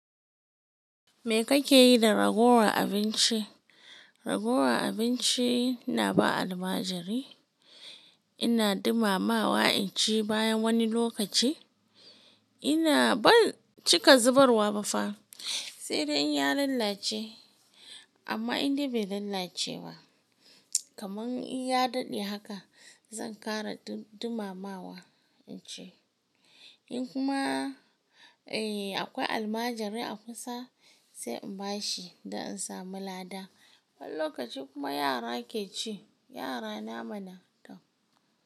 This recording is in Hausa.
Me kake yi da ragowar abinci? Ragowar abinci ina ba almajiri, ina dumamawa in ci bayan wani lokaci. Ina ban cika zubarwa ba fa. Sai dai in ya lalace amma in dai bai lalace ba, kamar in ya daɗe haka zan ƙara dumamawa in ci. In kuma akwai almajiri a kusa sai in bashi dan in samu lada. Wani lokaci kuma yara ke ci. Yara na mana tam.